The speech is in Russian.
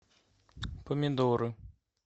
помидоры